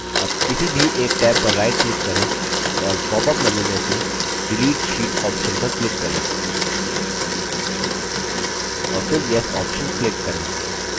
अब किसी भी एक टैब पर right click करें और popअप menu में से delete sheet option पर click करें और फिर yes option click करें